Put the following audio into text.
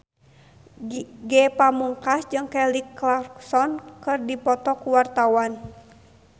Ge Pamungkas jeung Kelly Clarkson keur dipoto ku wartawan